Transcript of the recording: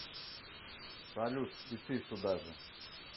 салют и ты туда же